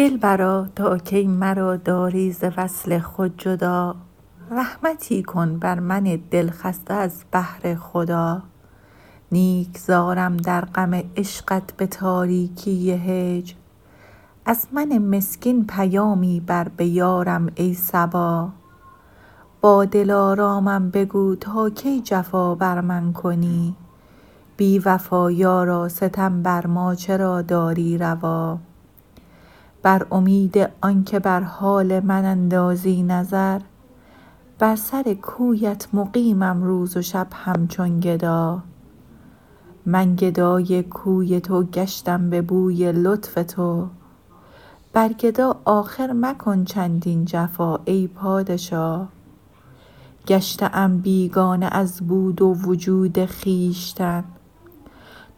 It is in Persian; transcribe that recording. دلبرا تا کی مرا داری ز وصل خود جدا رحمتی کن بر من دلخسته از بهر خدا نیک زارم در غم عشقت به تاریکی هجر از من مسکین پیامی بر به یارم ای صبا با دلارامم بگو تا کی جفا بر من کنی بی وفا یارا ستم بر ما چرا داری روا بر امید آنکه بر حال من اندازی نظر بر سر کویت مقیمم روز و شب همچون گدا من گدای کوی تو گشتم به بوی لطف تو بر گدا آخر مکن چندین جفا ای پادشا گشته ام بیگانه از بود و وجود خویشتن